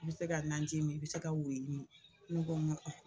I bɛ se ka nanji min i bɛ se ka wuruyi min ne ko ko